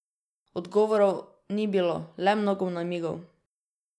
Odgovorov ni bilo, le mnogo namigov.